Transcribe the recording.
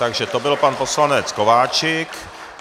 Takže to byl pan poslanec Kováčik.